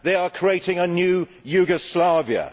They are creating a new Yugoslavia.